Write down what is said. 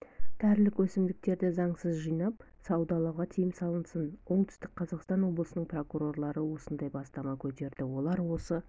дәрілік өсімдіктерді заңсыз жинап саудалауға тыйым салынсын оңтүстік қазақстан облысының прокурорлары осындай бастама көтерді олар осы